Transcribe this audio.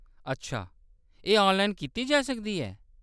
अच्छा, एह्‌‌ ऑनलाइन कीता जाई सकदा ऐ ?